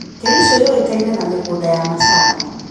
Kericho yũĩkaine na mĩgũnda ya macani.